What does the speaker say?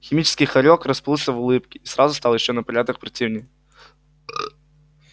химический хорёк расплылся в улыбке и сразу стал ещё на порядок противнее